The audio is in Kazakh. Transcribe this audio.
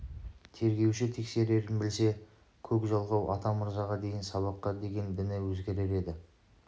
тергеуші тексерерін білсе көк жалқау атамырзаға дейін сабаққа деген діні өзгерер еді